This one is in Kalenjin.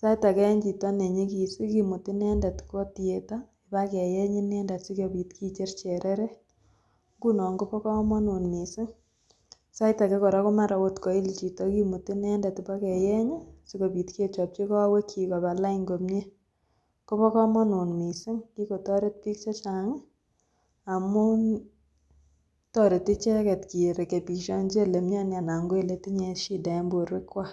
sait akee en chito nenyikis kimuti inendet kwoo theatre kibakeyeny inendet sikobit kicher chereret, ng'unon kobokomonut mising , sait akee komara oot koil chito kimuti inendet ibakeyeny sikobit kechopchi kowekyik koba lain komnye, kobokomonut mising, kikotoret biik chechang amun toreti icheket kerekebishonji elemioni anan ko eletinye shida en borwekwak.